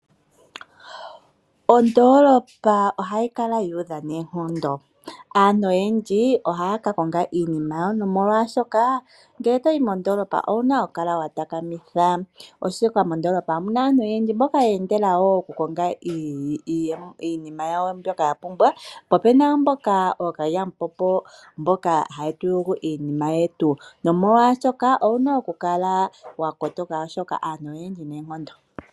Ondoolopa ohayi kala yu udha noonkondo. Aantu oyendji ohaya ka konga iinima yawo nomolwashoka ngele to yi mondoolopa ou na okukala wa takamitha, oshoka mondoolopa omu na aantu oyendji mboka ye endela okukonga iinima yawo mbyoka ya pumbwa po opu na wo mboka ookalyamupombo mboka haye tu yugu iinima yetu nomolwashoka owu na okukala wa kotoka, oshoka aantu oyendji noonkondo.